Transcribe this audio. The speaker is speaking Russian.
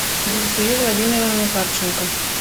зульфию владимировну харченко